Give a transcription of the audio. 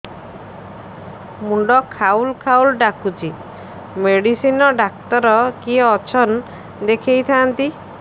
ମୁଣ୍ଡ ଖାଉଲ୍ ଖାଉଲ୍ ଡାକୁଚି ମେଡିସିନ ଡାକ୍ତର କିଏ ଅଛନ୍ ଦେଖେଇ ଥାନ୍ତି